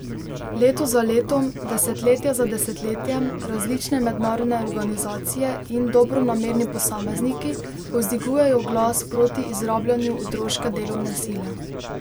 Leto za letom, desetletje za desetletjem različne mednarodne organizacije in dobronamerni posamezniki povzdigujejo glas proti izrabljanju otroške delovne sile.